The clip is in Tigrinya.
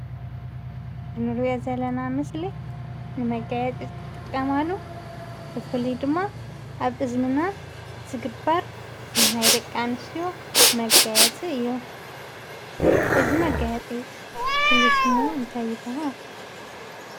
እንሪኦ ዘለና ምስሊ ንመጋየፂ ዝጥቀማሉ ብፍሉይ ድማ ኣብ እዝንና ዝግበር ናይ ደቂ ኣንሰትዮ መጋየፂ እዩ። እዚ መጋየፂ ፍሉይ ሽሙ እንታይ ይበሃል?